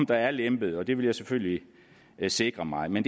der er lempet og det vil jeg selvfølgelig sikre mig men